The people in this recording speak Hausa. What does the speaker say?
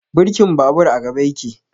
Birkin babur a gaba yake